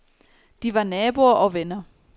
De var naboer og venner.